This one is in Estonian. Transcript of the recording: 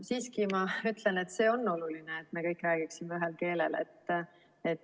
Siiski ma ütlen, et see on oluline, et me kõik räägiksime ühel keelel.